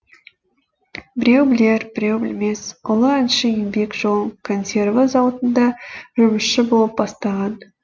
біреу білер біреу білмес ұлы әнші еңбек жолын консерві зауытында жұмысшы болып бастаған